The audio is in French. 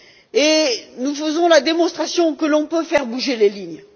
Et nous faisons la démonstration que l'on peut faire bouger les lignes.